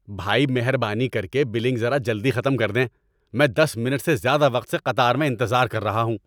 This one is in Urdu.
بھائی، مہربانی کر کے بلنگ ذرا جلدی ختم کر دیں! میں دس منٹ سے زیادہ وقت سے قطار میں انتظار کر رہا ہوں۔